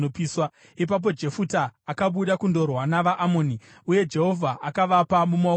Ipapo Jefuta akabuda kundorwa navaAmoni, uye Jehovha akavapa mumaoko ake.